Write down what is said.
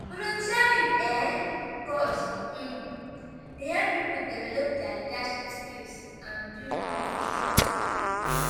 volunteering um cause um dey help people develop dia leadership skills and build confidence.